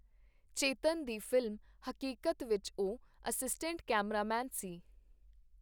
ਚੇਤਨ ਦੀ ਫ਼ਿਲਮ ਹਕੀਕਤ ਵਿਚ ਉਹ ਅਸਿਸਟੈਂਟ ਕੈਮਰਾਮੈਨ ਸੀ.